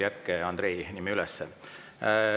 Jätke Andrei nimi üles.